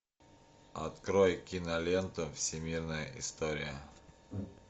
открой киноленту всемирная история